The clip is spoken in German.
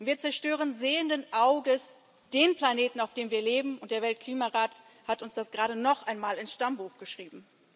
Wir zerstören sehenden Auges den Planeten auf dem wir leben, und der Weltklimarat hat uns das gerade noch einmal ins Stammbuch geschrieben.